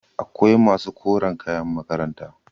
akwai masu koren kayan makaranta